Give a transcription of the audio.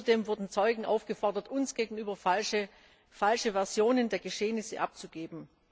Außerdem wurden Zeugen aufgefordert, uns gegenüber falsche Versionen der Geschehnisse abzugeben.